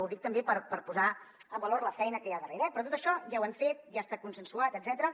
ho dic també per posar en valor la feina que hi ha darrere eh però tot això ja ho hem fet ja està consensuat etcètera